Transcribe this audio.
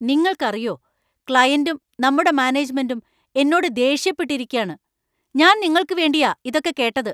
നിങ്ങൾക്കറിയോ ക്ലയന്‍റും നമ്മുടെ മാനേജ്മെന്‍റും എന്നോട് ദേഷ്യപ്പെട്ടിരിക്കാണ്, ഞാൻ നിങ്ങൾക്കു വേണ്ടിയാ ഇതൊക്കെ കേട്ടത്.